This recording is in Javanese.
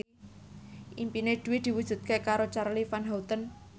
impine Dwi diwujudke karo Charly Van Houten